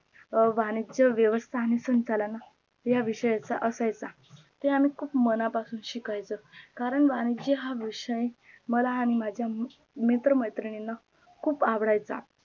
वाणिज्य व्यवस्थापन आणि संचालन या विषयचा असायचा ते आम्ही खूप मना पासून शिकायचो करण वाणिज्य हा विषय मला आणी माझ्या मैत्र मैत्रिणला खूप आवडायचा